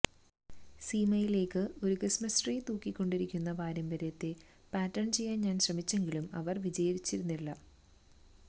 സീമയിലേക്ക് ഒരു Christmas tree തൂക്കിക്കൊണ്ടിരിക്കുന്ന പാരമ്പര്യത്തെ പാറ്റേൺ ചെയ്യാൻ ഞാൻ ശ്രമിച്ചെങ്കിലും അവർ വിജയിച്ചിരുന്നില്ല